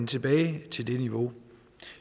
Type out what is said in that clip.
tilbage til det niveau